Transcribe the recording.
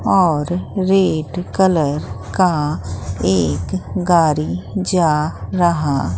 और red colour का एक गारी जा रहा--